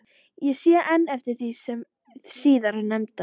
Ég sé enn eftir því síðar nefnda.